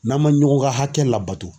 N'an ma ɲɔgɔn ka hakɛ labato.